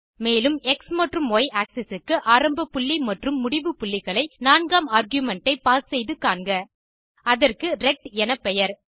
மேலும் எக்ஸ் மற்றும் Y axis க்கு ஆரம்ப புள்ளி மற்றும் முடிவு புள்ளிகளை நான்காம் ஆர்குமென்ட் ஐ பாஸ் செய்து காண்க அதற்கு ரெக்ட் எனப்பெயர்